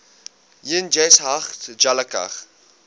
yn cheshaght ghailckagh